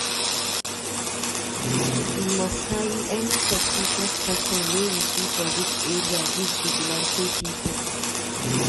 We must carry any suspicious person wey we see for dis area give vigilante pipu.